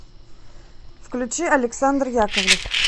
включи александр яковлев